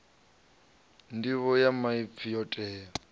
nḓivho ya maipfi yo tea